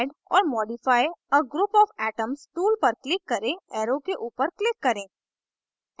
add or modify a group of atoms tool पर click करें arrow के ऊपर click करें